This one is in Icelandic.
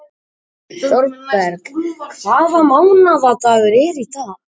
Thorberg, hvaða mánaðardagur er í dag?